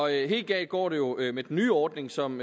helt galt går det jo med den nye ordning som